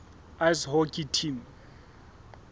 ice hockey team